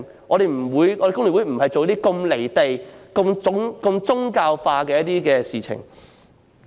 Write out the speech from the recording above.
工聯會不會做出如此"離地"及宗教化的事情。